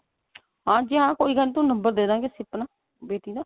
ਹਾਂਜੀ ਹਾਂ ਥੋਨੂੰ ਨੰਬਰ ਦੇਦਾਂਗੇ ਅਸੀਂ ਆਪਣਾ ਬੇਟੀ ਦਾ